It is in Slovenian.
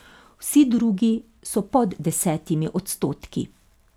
Vsi drugi so pod desetimi odstotki.